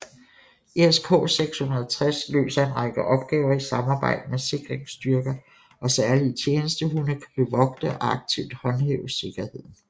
ESK 660 løser en række opgaver i samarbejde med sikringsstyrker og særlige tjenestehunde kan bevogte og aktivt håndhæve sikkerheden